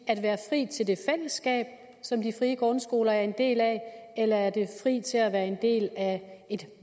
at være fri til det fællesskab som de frie grundskoler er en del af eller er det fri til at være en del af et